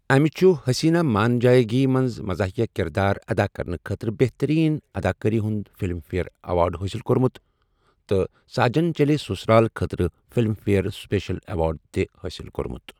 أمہِ چُھ 'حٔسیٖنہ مان جایے گی' منٛز مَزاحیہ کِردار اَدا کرنہٕ خٲطرٕ بہتٔریٖن اَداکٲری ہُنٛد فِلِم فِیَر ایٚوارڈ حٲصِل کوٚرمُت تہٕ 'ساجن چَلے سَسُرال' خٲطرٕ فِلِم فِیَر سٕپیشَل ایٚوارڈ تہِ حٲصِل کوٚرمُت۔